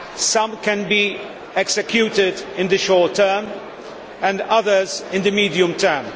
Some can be executed in the short term and others in the medium term.